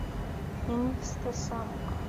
инстасамка